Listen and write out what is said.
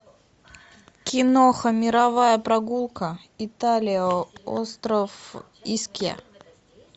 киноха мировая прогулка италия остров искья